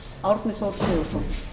frú forseti það